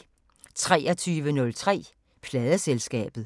23:03: Pladeselskabet